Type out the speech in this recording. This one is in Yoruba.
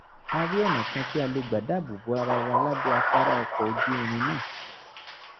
a rí ọ̀nà kan tí a lè gbà dáàbò bo ara wa lábẹ́ afárá ọkọ̀ ojú-irin náà